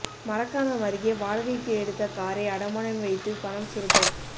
மரக்காணம் அருகே வாடகைக்கு எடுத்த காரை அடமானம் வைத்து பணம் சுருட்டல்